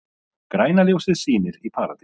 Græna ljósið sýnir í Paradís